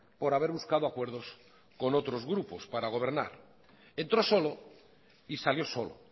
por haber buscado acuerdos con otros grupos para gobernar entró solo y salió solo